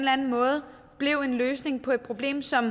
anden måde blev en løsning på et problem som